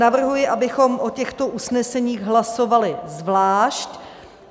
Navrhuji, abychom o těchto usneseních hlasovali zvlášť.